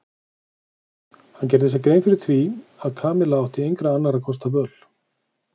Hann gerði sér grein fyrir því að Kamilla átti engra annarra kosta völ.